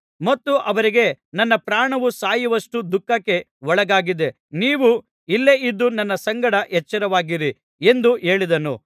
ಮತ್ತು ಅವರಿಗೆ ನನ್ನ ಪ್ರಾಣವು ಸಾಯುವಷ್ಟು ದುಃಖಕ್ಕೆ ಒಳಗಾಗಿದೆ ನೀವು ಇಲ್ಲೇ ಇದ್ದು ನನ್ನ ಸಂಗಡ ಎಚ್ಚರವಾಗಿರಿ ಎಂದು ಹೇಳಿದನು